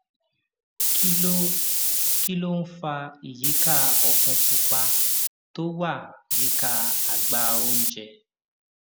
kí ló kí ló ń fa ìyíká òfun pupa tó wà yíká àgbá oúnjẹ